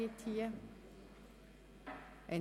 – Das ist nicht der Fall.